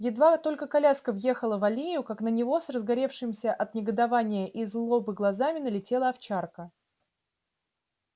едва только коляска въехала в аллею как на него с разгоревшимися от негодования и злобы глазами налетела овчарка